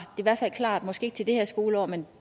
den klar måske ikke til det her skoleår men